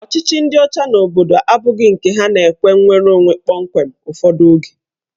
Ọchịchị ndị ọcha n'obodo abụghị nke ha na-ekwe nnwereonwe kpọmkwem ụfọdụ oge.